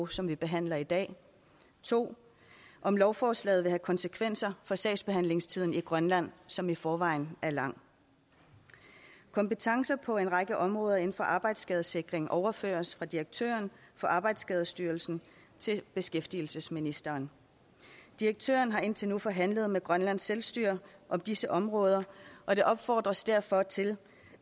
som vi behandler i dag og 2 om lovforslaget vil have konsekvenser for sagsbehandlingstiden i grønland som i forvejen er lang kompetencer på en række områder inden for arbejdsskadesikring overføres fra direktøren for arbejdsskadestyrelsen til beskæftigelsesministeren direktøren har indtil nu forhandlet med grønlands selvstyre om disse områder og der opfordres derfor til